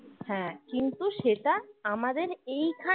হ্যাঁ কিন্তু সেটা আমাদের এইখানে